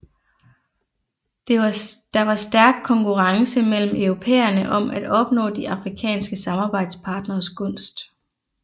Der var stærk konkurrence mellem europæerne om at opnå de afrikanske samarbejdspartneres gunst